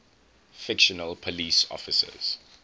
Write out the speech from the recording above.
fictional police officers